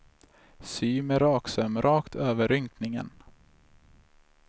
Sy med en raksöm rakt över rynkningen.